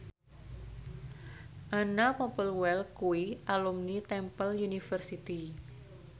Anna Popplewell kuwi alumni Temple University